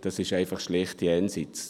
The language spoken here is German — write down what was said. Das ist schlicht jenseits.